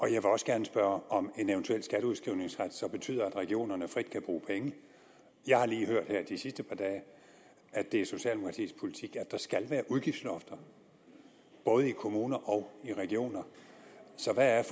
jeg vil også gerne spørge om en eventuel skatteudskrivningsret så betyder at regionerne frit kan bruge penge jeg har lige hørt her de sidste par dage at det er socialdemokratiets politik at der skal være udgiftslofter både i kommuner og i regioner så hvad er